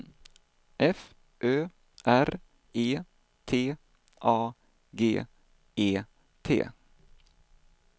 F Ö R E T A G E T